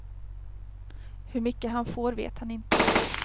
Hur mycket han får vet han inte.